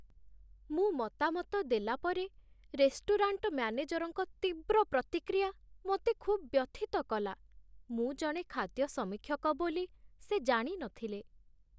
ମୁଁ ମତାମତ ଦେଲାପରେ, ରେଷ୍ଟୁରାଣ୍ଟ ମ୍ୟାନେଜରଙ୍କ ତୀବ୍ର ପ୍ରତିକ୍ରିୟା ମୋତେ ଖୁବ୍ ବ୍ୟଥିତ କଲା। ମୁଁ ଜଣେ ଖାଦ୍ୟ ସମୀକ୍ଷକ ବୋଲି ସେ ଜାଣି ନଥିଲେ।